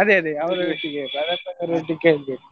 ಅದೇ ಅದೇ ಅವರೊಟ್ಟಿಗೆ ಕೇಳ್ಬೇಕು